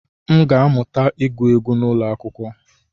M ga-amụta ịgụ egwu n'ụlọ akwụkwọ